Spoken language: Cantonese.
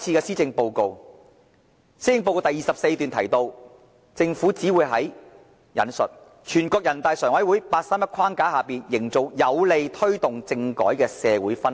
施政報告第24段提到，政府只會在："全國人大常委會'八三一'框架下營造有利推動政改的社會氛圍"。